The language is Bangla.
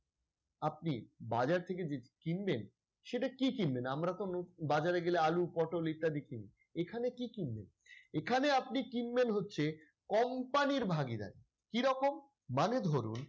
আপনি বাজার থেকে যে কিনবেন সেটা কি কিনবেন? আমরাতো বাজারে গেলে আলু পটল ইত্যাদি কিনি এখানে কি কিনবেন? এখানে আপনি কিনবেন হচ্ছে company এর ভাগীদারি কিরকম মানে ধরুন,